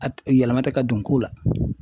A t yɛlɛma tɛ ka don ko la.